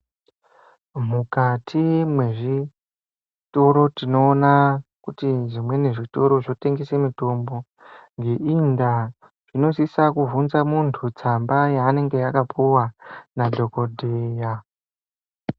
Mukati mwezvitoro tinoona kuti zvimweni zviToro zvotengesa mitombo. Ngeiyi ndaa tinosisa kubvunza muntu tsamba yaanenge akapuwa nadhogodheya.